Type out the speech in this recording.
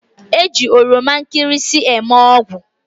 E ji oromankirisi eme ogwu